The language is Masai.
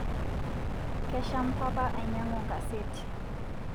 Kesham papa ainyangu nkaseti